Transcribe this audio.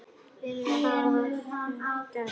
Og það hefurðu gert.